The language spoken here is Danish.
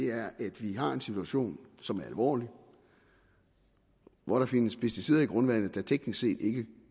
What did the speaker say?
er at vi har en situation som er alvorlig hvor der findes pesticider i grundvandet der teknisk set ikke